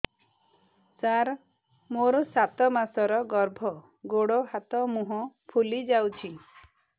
ସାର ମୋର ସାତ ମାସର ଗର୍ଭ ଗୋଡ଼ ହାତ ମୁହଁ ଫୁଲି ଯାଉଛି